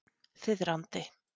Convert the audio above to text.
Þiðrandi